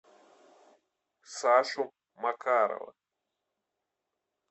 сашу макарова